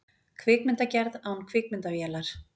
Kvikmyndagerð án kvikmyndavélar